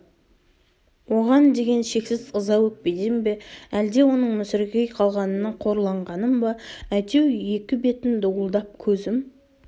оған деген шексіз ыза-өкпеден бе әлде оның мүсіркей қалғанына қорланғаным ба әйтеу екі бетім дуылдап көзім